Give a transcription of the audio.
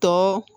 Tɔ